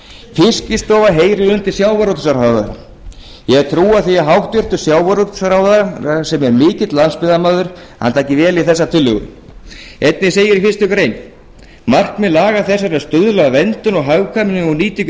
fiskistofa heyrir undir sjávarútvegsráðherra ég hef trú á því að hæstvirtur sjávarútvegsráðherra sem er mikill landsbyggðarmaður taki vel í þessar tillögur einnig segir í fyrstu grein markmið laga þessara er að stuðla að verndun og hagkvæmri nýtingu